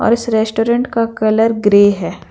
इस रेस्टोरेंट का colour grey है।